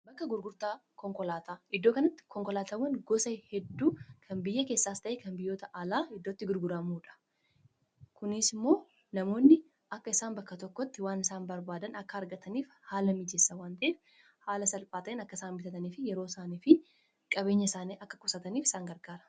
Bakka gurgurtaa iddoo kanatti konkolaatawwan gosa hedduu kan biyya keessaas ta'ee kan biyyoota alaa iddootti gurguraamuudha kunis immoo namoonni akka isaan bakka tokkotti waan isaan barbaadan akka argataniif haala mijeessa waan ta'eef haala salphaatiin akka isaan bitataniif yeroo isaanii fi qabeenya isaanii akka qusataniif isaan gargaara.